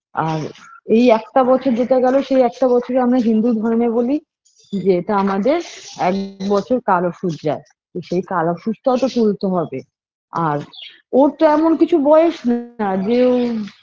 আর এই একটা বছর যেতে গেল সে একটা বছরে আমরা হিন্দু ধর্মে বলি যে এটা আমাদের এক বছর কাল অসৌচ যায় কিন্ত এই কাল অসৌচটাতো তুলতে হবে আর ওর তো এমন কিছু বয়স না যে ও